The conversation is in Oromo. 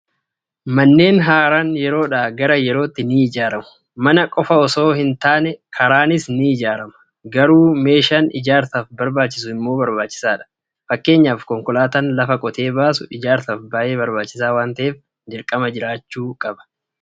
Manneen haaraan yeroodhaa gara yerootti ni ijaaramu. Mana qofanosoo ji taane karaanis ni ijaarama. Gatuu meeshaan ijaarsaaf barbaacjisu immoo barbaachisaadh. Fakkeenyaaf konkolaataan lafa qotee baasu ijaarsaaf baay'ee barbaachisaa waan ta'eef, dirqama jiraachuu qaba.